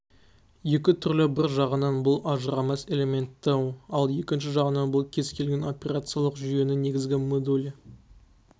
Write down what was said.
екі түрлі бір жағынан бұл ажырамас элементі ал екінші жағынан бұл кез-келген операциялық жүйенің негізгі модулі